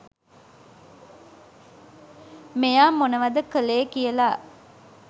මෙයා මොනවද කලේ කියලා.